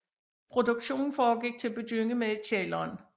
Produktionen foregik til at begynde med i kælderen